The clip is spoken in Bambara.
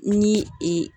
Ni